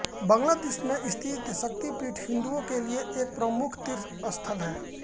बांग्लादेश में स्थित यह शक्तिपीठ हिंदुओं के लिए एक प्रमुख तीर्थस्थल है